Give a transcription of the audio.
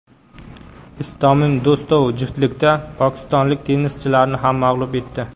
IstominDo‘stov juftlikda pokistonlik tennischilarni ham mag‘lub etdi.